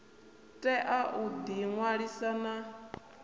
tea u ḓi ṅwalisa na